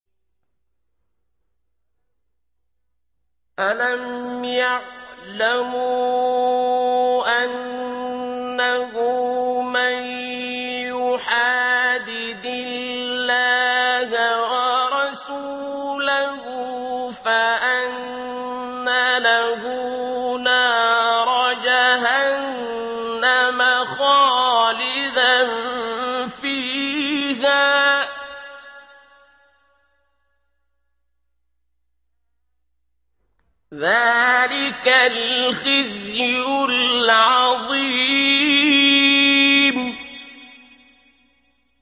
أَلَمْ يَعْلَمُوا أَنَّهُ مَن يُحَادِدِ اللَّهَ وَرَسُولَهُ فَأَنَّ لَهُ نَارَ جَهَنَّمَ خَالِدًا فِيهَا ۚ ذَٰلِكَ الْخِزْيُ الْعَظِيمُ